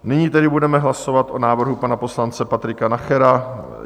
Nyní tedy budeme hlasovat o návrhu pana poslance Patrika Nachera.